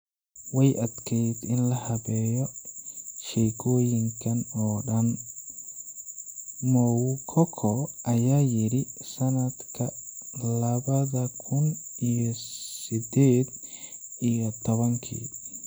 "Way adkeyd in la habeeyo sheekooyinkan oo dhan," Moukoko ayaa yiri sanadka labada kun iyo sedeed iyo tobankii.